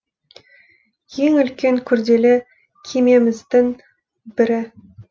ең үлкен күрделі кемеміздің бірі